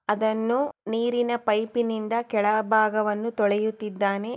ಅದನ್ನು ನೀರಿನ ಪೈಪಿನಿಂದ ಕೆಳಬಾಗವನ್ನು ತೊಳೆಯುತಿದ್ದಾನೆ.